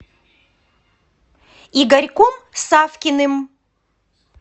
игорьком савкиным